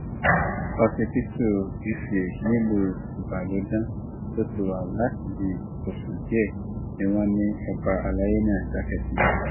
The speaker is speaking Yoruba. ọba ńlá yìí tó jẹ igbákejì alága ìgbìmọ àwọn lọbalọba ìpínlẹ ọyọ dara pọ mọ àwọn baba ńlá ẹ